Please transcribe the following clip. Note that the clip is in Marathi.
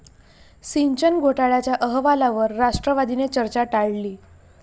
सिंचन घोटाळ्याच्या अहवालावर राष्ट्रवादीने चर्चा टाळली